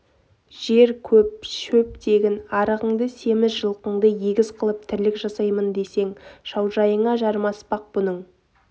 жер көп шөп тегін арығыңды семіз жалқыңды егіз қылып тірлік жасаймын десең кім шаужайыңа жармаспақ бұның